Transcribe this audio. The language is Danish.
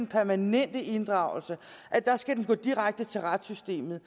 permanente inddragelser skal gå direkte til retssystemet